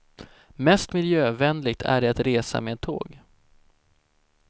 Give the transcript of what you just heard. Mest miljövänligt är det att resa med tåg.